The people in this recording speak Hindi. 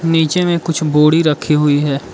नीचे में कुछ बोड़ी रखी हुई है।